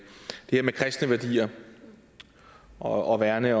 her med kristne værdier og at værne